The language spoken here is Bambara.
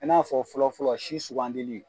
I n'a fɔ fɔlɔ fɔlɔ si sugandeli